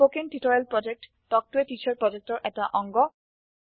spoken tutorial প্ৰকল্প talk to a teacher প্ৰকল্পৰ এটা অংগ